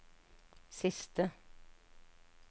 siste